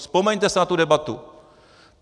Vzpomeňte si na tu debatu.